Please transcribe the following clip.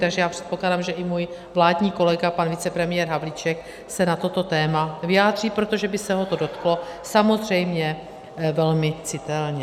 Takže já předpokládám, že i můj vládní kolega, pan vicepremiér Havlíček, se na toto téma vyjádří, protože by se ho to dotklo samozřejmě velmi citelně.